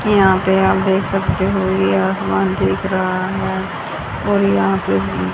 यहां पे आप देख सकते हो ये आसमान दिख रहा है और यहां पे--